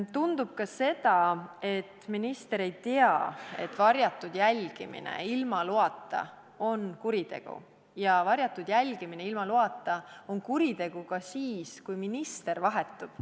Tundub ka, et minister ei tea, et varjatud jälgimine ilma loata on kuritegu ja et varjatud jälgimine ilma loata on kuritegu ka siis, kui minister vahetub.